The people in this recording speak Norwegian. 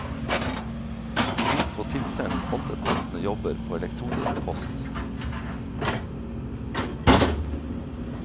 De vil få tilsendt alle passende jobber på elektronisk post.